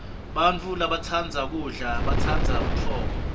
bantfu labatsandza kudla batsandza butfongo